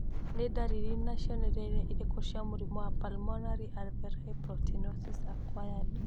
Nĩ ndariri na cionereria irĩkũ cia mũrimũ wa Pulmonary alveolar proteinosis acquired?